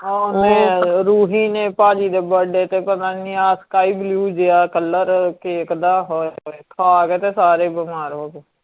ਆ ਮੈ ਰੂਹੀ ਨੇ ਪਾਪਾ ਜੀ ਦੇ ਬਡੇ ਤੇ ਪਤਾਨੀ ਆਹ sky blue ਜੇਆ ਕਲਰ ਕੇਕ ਦਾ ਹੋਏ ਹੋਏ ਖਾਕੇ ਤੇ ਸਾਰੇ ਬਿਮਾਰ ਹੋਗੇ